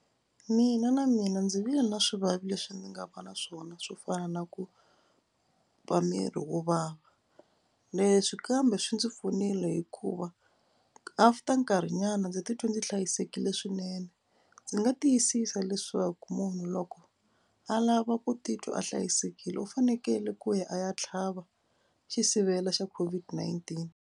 Mina na mina ndzi vile na swivavi leswi ndzi nga va na swona swo fana na ku va miri wo vava. Leswi kambe swi ndzi pfunile hikuva after nkarhinyana ndzi titwi ndzi hlayisekile swinene. Ndzi nga tiyisisa leswaku munhu loko a lava ku titwa a hlayisekile u fanekele ku ya a ya tlhava xisivela xa COVID-19.